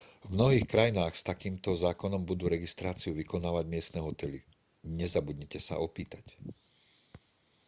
v mnohých krajinách s takýmto zákonom budú registráciu vykonávať miestne hotely nezabudnite sa opýtať